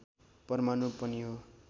परमाणु पनि हो